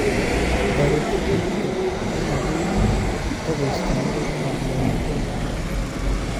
Taretet notok komakoi takoista neregek ap lagochotok.